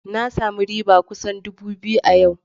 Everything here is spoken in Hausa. Na sami riba kusan dubu biyu a yau.